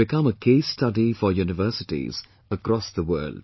It will become a case study for universities across the world